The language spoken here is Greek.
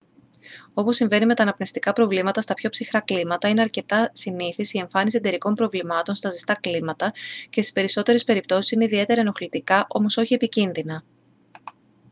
όπως συμβαίνει με τα αναπνευστικά προβλήματα στα πιο ψυχρά κλίματα είναι αρκετά συνήθης η εμφάνιση εντερικών προβλημάτων στα ζεστά κλίματα και στις περισσότερες περιπτώσεις είναι ιδιαίτερα ενοχλητικά όμως όχι επικίνδυνα